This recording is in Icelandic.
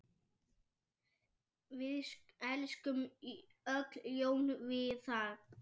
Við elskum öll Jón Viðar.